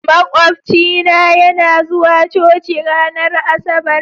Makwafcina yana zuwa coci ranar Asabar.